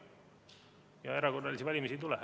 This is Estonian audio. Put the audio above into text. Ja erakorralisi valimisi ei tule.